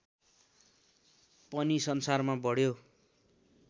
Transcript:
पनि संसारमा बढ्यो